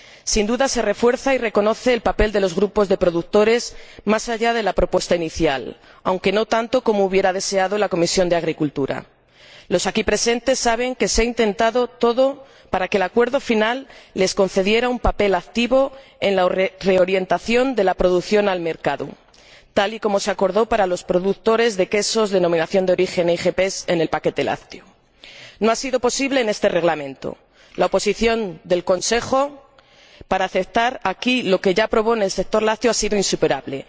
Sin duda, se refuerza y reconoce el papel de los grupos de productores más allá de la propuesta inicial, aunque no tanto como hubiera deseado la Comisión de Agricultura y Desarrollo Rural. Los aquí presentes saben que se ha intentado todo para que el acuerdo final les concediera un papel activo en la reorientación de la producción al mercado, tal y como se acordó para los productores de quesos productos denominación de origen o IGP en el paquete lácteo. No ha sido posible en este Reglamento. La oposición del Consejo para aceptar aquí lo que ya aprobó en relación con el sector lácteo ha sido insuperable.